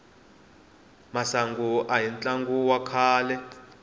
masangu ahi tlangu wa kahle